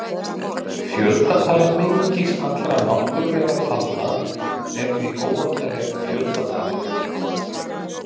Fjöldatala mengis allra náttúrulegra talna er því óendanleg fjöldatala.